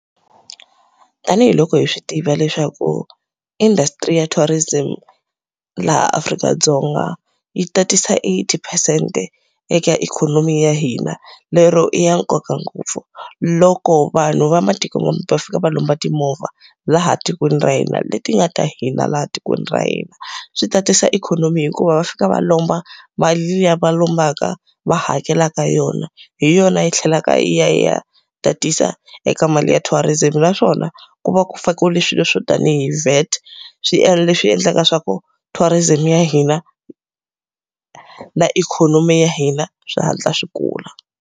Tanihi loko hi swi tiva leswaku industry ya tourism laha Afrika-Dzonga yi tatisa eight percent-e eka ikhonomi ya hina, lero i ya nkoka ngopfu. Loko vanhu va matikomambe va fika va lomba timovha laha tikweni ra hina leti nga ta hina laha tikweni ra hina, swi tatisa ikhonomi hikuva va fika va lomba mali liya va lombaka va hakelaka hi yona, hi yona yi tlhelaka yi ya yi ya tatisa eka mali ya tourism. Naswona ku va ku fakiwile swilo swo tanihi VAT. Swiendlo leswi endlaka swa ku tourism ya hina na ikhonomi ya hina swi hatla swi kula.